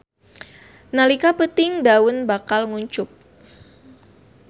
Nalika peuting daun bakal nguncup.